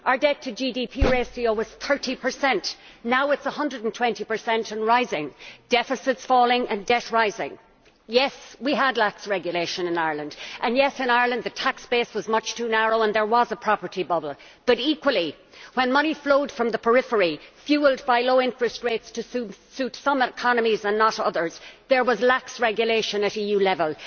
Our debt to GDP ratio was 30 now it is 120 and rising deficits falling and debt rising. Yes, we had lax regulation in Ireland and, yes, in Ireland the tax base was much too narrow and there was a property bubble but, equally, when money flowed from the periphery, fuelled by low interest rates to suit some economies and not others, there was lax regulation at EU level.